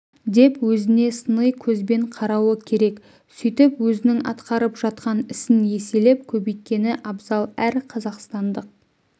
деп өзіне сыни көзбен қарауы керек сөйтіп өзінің атқарып жатқан ісін еселеп көбейткені абзал әр қазақстандық